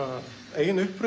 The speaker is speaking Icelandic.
eigin uppruna